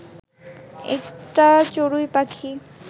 একটা চড়ুই পাখি